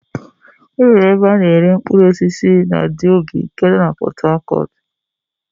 E nwere ebe a na-ere mkpụrụosisi na Diobu nke nọ na Pọtakọtụ.